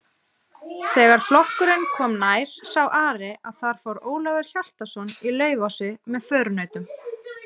Þegar flokkurinn kom nær sá Ari að þar fór Ólafur Hjaltason í Laufási með förunautum.